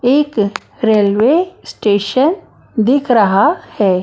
एक railway station दिख रहा है।